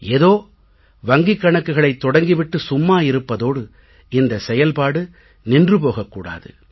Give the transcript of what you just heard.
ஏதோ வங்கிக் கணக்குகளைத் தொடங்கி விட்டு சும்மா இருப்பதோடு இந்த செயல்பாடு நின்று போகக் கூடாது